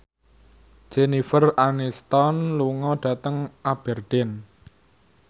Jennifer Aniston lunga dhateng Aberdeen